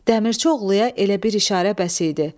Dəmirçioğluya elə bir işarə bəs idi.